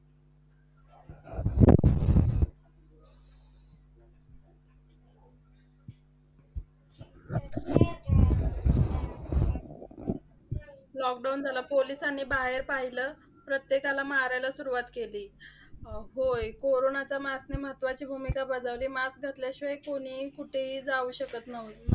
Lockdown झालं. पोलिसांनी बाहेर पाहिलं. प्रत्येकाला मारायला सुरुवात केली. होय, कोरोनाच्या mask ने महत्वाची भूमिका बजावली. Mask घातल्याशिवाय कोणीही कुठेही जाऊ शकत नाही.